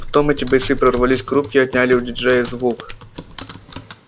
потом эти бойцы прорвались к рубке и отняли у диджея звук